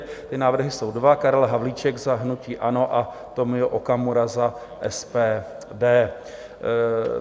Ty návrhy jsou dva - Karel Havlíček za hnutí ANO a Tomio Okamura za SPD.